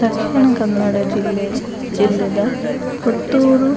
ದಕ್ಷಿಣ ಕನ್ನಡ ಜಿಲ್ಲೆ ಜಿಲ್ಲೆದ ಪುತ್ತೂರು